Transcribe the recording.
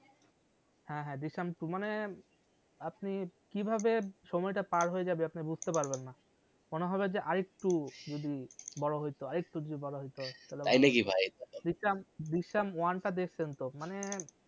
হ্যাঁ হ্যাঁ দৃশ্যাম two মানে আপনি কিভাবে সময় টা পার হয়ে যাবে আপনি বুঝতে পারবেন না মনে হবে যে আরেকটু যদি বড় হয়তো আরেকটু যদি বড় হয়তো তাই নাকি ভাই দৃশ্যাম one টা দেখসেন তো মানে